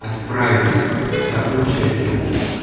отправить да получается